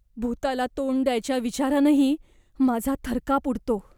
भुताला तोंड द्यायच्या विचारानंही माझा थरकाप उडतो.